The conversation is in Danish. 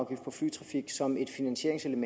procent